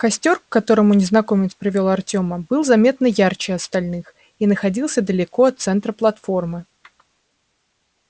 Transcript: костёр к которому незнакомец привёл артёма был заметно ярче остальных и находился далеко от центра платформы